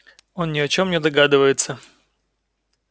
он ни о чём не догадывается